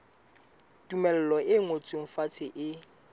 tumello e ngotsweng fatshe e